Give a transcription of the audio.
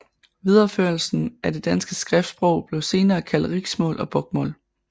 Videreførelsen af det danske skriftsprog blev senere kaldt riksmål og bokmål